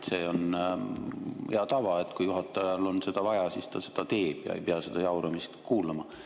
See on hea tava, et kui juhatajal on seda vaja, siis ta seda teeb, ja ta ei pea seda jauramist kuulama.